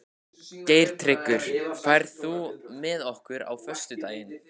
Geirtryggur, ferð þú með okkur á föstudaginn?